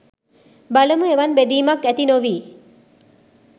බලමු එවන් බෙදීමක් ඇති නොවී